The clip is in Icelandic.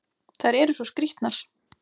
Þær eru svo skrýtnar!